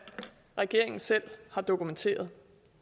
regeringen selv har dokumenteret